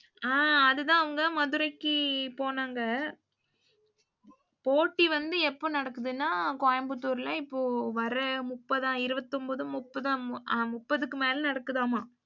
அஹ் அதுதான் அவங்க மதுரைக்குப் போனாங்க. போட்டி வந்து எப்போ நடக்குதுனா, கோயம்புத்தூர்ல இப்போ வர முப்பதா இருபத்தி ஒம்போது முப்பதோ அ முப்பதுக்கு மேல நடக்குதாம.